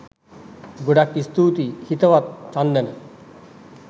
ගොඩාක් ස්තුතියි හිතවත් චන්දන